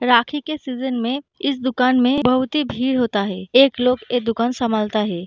राखी के सीजन में इस दुकान में बहुत ही भीड़ होता है एक लोग ये दुकान संभालता है।